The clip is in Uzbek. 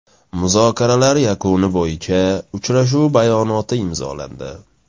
Muzokaralar yakuni bo‘yicha uchrashuv bayonoti imzolandi.